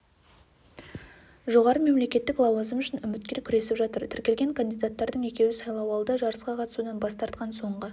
жоғары мемлекеттік лауазым үшін үміткер күресіп жатыр тіркелген кандидаттардың екеуі сайлауалды жарысқа қатысудан бас тартқан соңғы